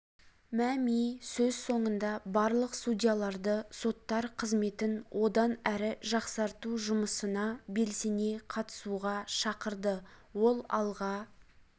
мәми сөз соңында барлық судьяларды соттар қызметін одан әрі жақсарту жұмысына белсене қатысуға шақырды ол алға